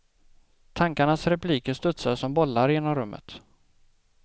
Tankarnas repliker studsar som bollar genom rummet.